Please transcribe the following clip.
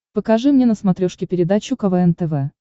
покажи мне на смотрешке передачу квн тв